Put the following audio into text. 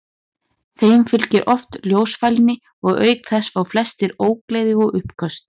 Þeim fylgir oft ljósfælni og auk þess fá flestir ógleði og uppköst.